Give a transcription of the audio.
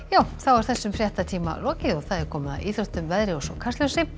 þessum fréttatíma er lokið og komið að íþróttum veðri og Kastljósi